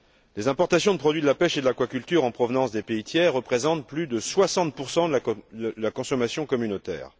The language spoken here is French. Les importations de produits de la pêche et de l'aquaculture en provenance des pays tiers représentent plus de 60 de la consommation communautaire.